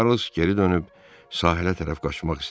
Çarlz geri dönüb sahilə tərəf qaçmaq istədi.